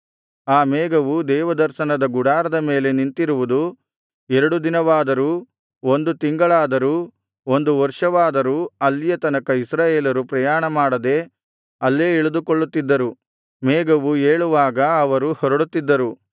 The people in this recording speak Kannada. ಆ ಮೇಘವು ದೇವದರ್ಶನದ ಗುಡಾರದ ಮೇಲೆ ನಿಂತಿರುವುದು ಎರಡು ದಿನವಾದರೂ ಒಂದು ತಿಂಗಳಾದರೂ ಒಂದು ವರ್ಷವಾದರೂ ಅಲ್ಲಿಯ ತನಕ ಇಸ್ರಾಯೇಲರು ಪ್ರಯಾಣಮಾಡದೆ ಅಲ್ಲೇ ಇಳಿದುಕೊಂಡಿರುತ್ತಿದ್ದರು ಮೇಘವು ಏಳುವಾಗ ಅವರು ಹೊರಡುತ್ತಿದ್ದರು